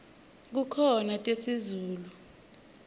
kukhona tesizulu